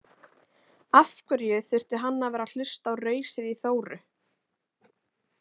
Af hverju þurfti hann að vera að hlusta á rausið í Þóru?